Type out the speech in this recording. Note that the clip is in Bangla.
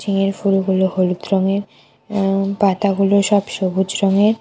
এর ফুলগুলো হলুদ রঙের এ্য পাতাগুলো সব সবুজ রঙের।